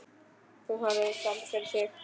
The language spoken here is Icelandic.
Hún horfir fram fyrir sig.